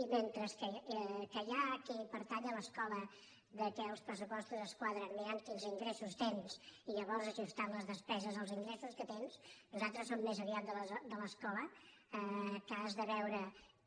i mentre que hi ha qui pertany a l’escola que els pressupostos es quadren mirant quins ingressos tens i llavors ajustant les des·peses als ingressos que tens nosaltres som més aviat de l’escola que has de veure